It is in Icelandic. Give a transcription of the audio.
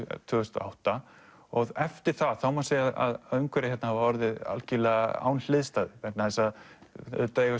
tvö þúsund og átta og eftir það má segja að umhverfið hérna hafi orðið algjörlega án hliðstæðu vegna þess að auðvitað eiga